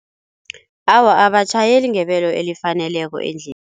Awa abatjhayeli ngebelo elifaneleko